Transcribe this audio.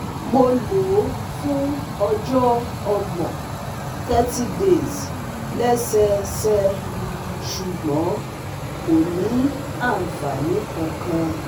Mo lò ó fún ojo ogbon (30 days) lesese, sugbon kò ni anfani kankan